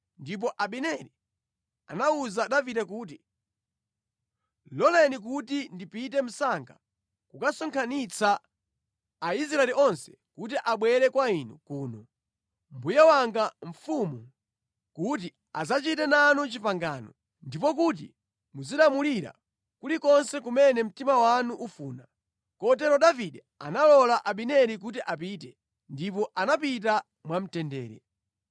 Ndipo Abineri anawuza Davide kuti, “Loleni kuti ndipite msanga kukasonkhanitsa Aisraeli onse kuti abwere kwa inu kuno, mbuye wanga mfumu, kuti adzachite nanu pangano, ndipo kuti muzilamulira kulikonse kumene mtima wanu ufuna.” Kotero Davide analola Abineri kuti apite, ndipo anapita mwamtendere.